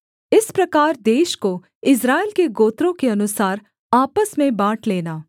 इस प्रकार देश को इस्राएल के गोत्रों के अनुसार आपस में बाँट लेना